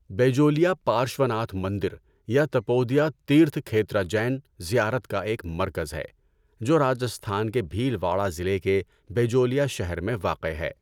بیجولیا پارشواناتھ مندر یا تپودیا تیرتھ کھیترا جین زیارت کا ایک مرکز ہے جو راجستھان کے بھیلواڑہ ضلع کے بیجولیا شہر میں واقع ہے۔